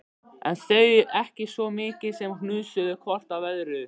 En þau ekki svo mikið sem hnusuðu hvort af öðru.